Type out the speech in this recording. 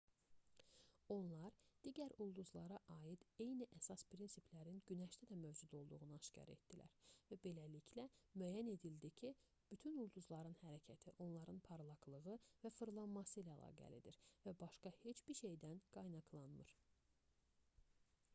onlar digər ulduzlara aid eyni əsas prinsiplərin günəşdə də mövcud olduğunu aşkar etdilər beləliklə müəyyən edildi ki bütün ulduzların hərəkəti onların parlaqlığı və fırlanması ilə əlaqəlidir və başqa heç bir şeydən qaynaqlanmır